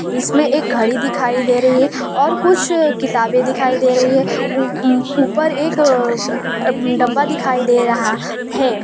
इसमें एक घड़ी दिखाई दे रही है और कुछ किताबें दिखाई दे रही है उम्म ऊपर एक अह डब्बा दिखाई दे रहा है।